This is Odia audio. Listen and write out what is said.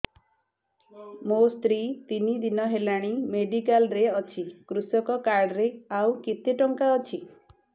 ମୋ ସ୍ତ୍ରୀ ତିନି ଦିନ ହେଲାଣି ମେଡିକାଲ ରେ ଅଛି କୃଷକ କାର୍ଡ ରେ ଆଉ କେତେ ଟଙ୍କା ଅଛି